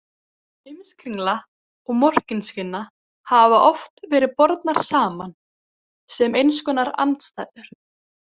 Heimskringla og Morkinskinna hafa oft verið bornar saman, sem eins konar andstæður.